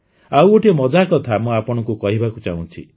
ଆଉ ଗୋଟିଏ ମଜା କଥା ମୁଁ ଆପଣଙ୍କୁ କହିବାକୁ ଚାହୁଁଛି